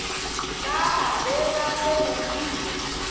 ka ba be ba lemogile